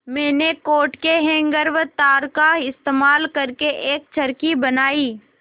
मैंने कोट के हैंगर व तार का इस्तेमाल करके एक चरखी बनाई